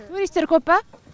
туристтер көп па